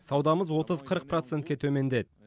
саудамыз отыз қырық процентке төмендеді